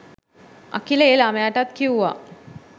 අකිල ඒ ළමයටත් කිව්වා